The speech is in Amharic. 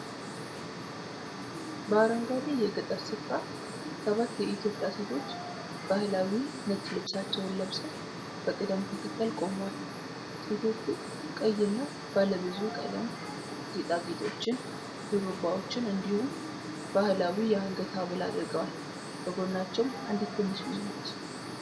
በአረንጓዴ የገጠር ሥፍራ ሰባት የኢትዮጵያ ሴቶች ባህላዊ ነጭ ልብሳቸውን ለብሰው በቅደም ተከተል ቆመዋል። ሴቶቹ ቀይና ባለብዙ ቀለም ጌጣጌጦችን፣ ሹሩባዎችን እንዲሁም ባህላዊ የአንገት ሐብል አድርገዋል። ከጎናቸውም አንዲት ትንሽ ልጅ ነች።